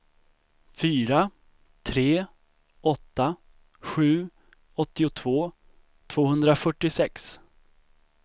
fyra tre åtta sju åttiotvå tvåhundrafyrtiosex